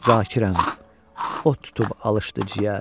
Zakirəm, ot tutub alışdı ciyər.